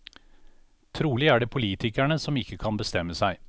Trolig er det politikerne som ikke kan bestemme seg.